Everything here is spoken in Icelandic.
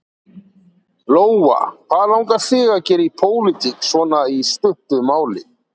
Lóa: Hvað langar þig að gera í pólitík svona í stuttu máli?